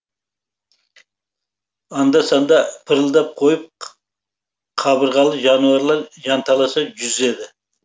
анда санда пырылдап қойып қабырғалы жануарлар жанталаса жүзеді